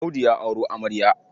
Audu ya auro amarya.